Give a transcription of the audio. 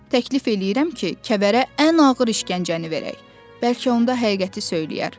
Təklif eləyirəm ki, kəvərə ən ağır işgəncəni verək, bəlkə onda həqiqəti söyləyər.